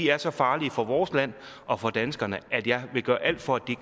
er så farlige for vores land og for danskerne at jeg vil gøre alt for at de